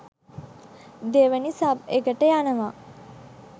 දෙවැනි සබ් එකට යනවා.